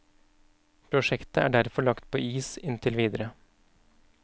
Prosjektet er derfor lagt på is inntil videre.